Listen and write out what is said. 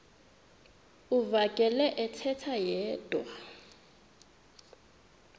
uvakele ethetha yedwa